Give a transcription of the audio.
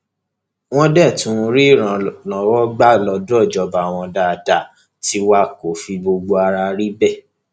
wọn dé tún ń rí ìrànlọwọ gbà lọdọ ìjọba wọn dáadáa tiwa kó fi gbogbo ara rí bẹẹ